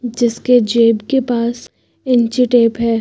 जिसके जेब के पास इंची टेप है।